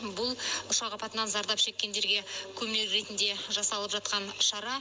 бұл ұшақ апатынан зардап шеккендерге көмек ретінде жасалып жатқан шара